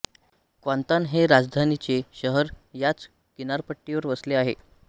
Kuantan हे राजधानीचे शहर याच किनारपट्टीवर वसले आहे